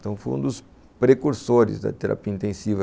Então, foi um dos precursores da terapia intensiva.